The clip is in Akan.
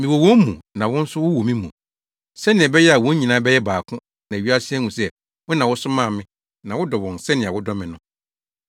Mewɔ wɔn mu na wo nso wowɔ me mu, sɛnea ɛbɛyɛ a wɔn nyinaa bɛyɛ baako na wiase ahu sɛ wo na wosomaa me na wodɔ wɔn sɛnea wodɔ me no.